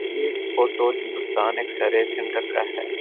ये photo Muskan X-ray centre का है।